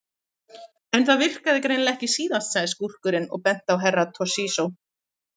En það virkaði greinilega ekki síðast, sagði skúrkurinn og benti á Herra Toshizo.